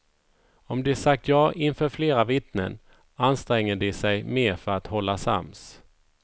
Om de sagt ja inför flera vittnen anstränger de sig mer för att hålla sams.